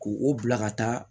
K'u o bila ka taa